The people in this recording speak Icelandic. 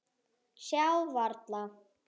Sjá varla.